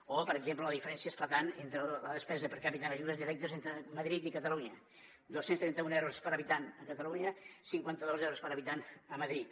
o per exemple la diferència esclatant entre la despesa per capita en ajudes directes entre madrid i catalunya dos cents i trenta un euros per habitant a catalunya cinquanta dos euros per habitant a madrid